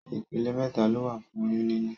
Ìpele mẹta lowa fún oyún níní